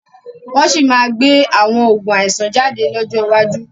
Wọ́n sì máa gbé àwọn Oògùn àìsàn jáde lọ́jọ́ iwájú